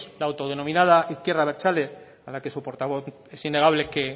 la autodenominada izquierda abertzale a la que su portavoz es innegable que